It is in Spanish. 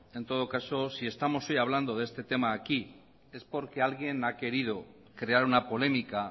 en todo caso si estamos hoy hablando de este tema aquí es porque alguien ha querido crear una polémica